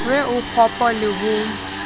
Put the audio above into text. re o kgopo le ho